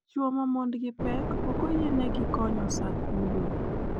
Chuo ma mondgi pek ok oyienegi konyo sa kunyo.